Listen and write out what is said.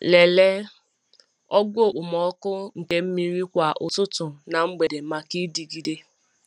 Lelee ogo okpomọkụ nke mmiri kwa ụtụtụ na mgbede maka ịdịgide.